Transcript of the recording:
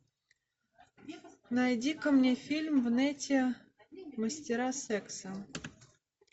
найди ка мне фильм в нете мастера секса